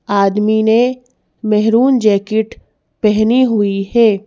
आदमी ने maroon jacket पहनी हुई है।